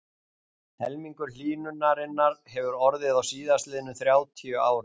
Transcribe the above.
Helmingur hlýnunarinnar hefur orðið á síðastliðnum þrjátíu árum.